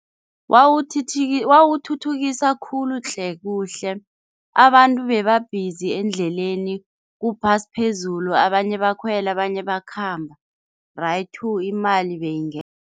Wawuthuthukisa khulu tle kuhle abantu bebabhizi endleleni, kuphasi phezulu abanye bakhwele, abanye bakhamba raythu imali